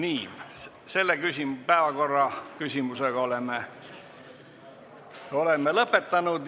Oleme selle päevakorrapunkti käsitlemise lõpetanud.